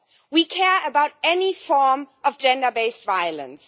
we care about any form of gender based violence.